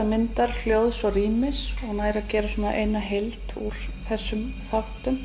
myndar hljóðs og rýmis og gerir eina heild úr þessum þáttum